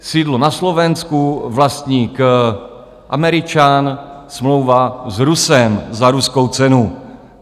Sídlo na Slovensku, vlastník Američan, smlouva s Rusem za ruskou cenu.